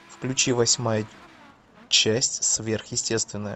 включи восьмая часть сверхъестественное